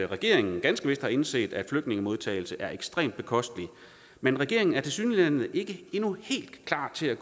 regeringen ganske vist har indset at flygtningemodtagelse er ekstremt bekosteligt men regeringen er tilsyneladende ikke endnu helt klar til at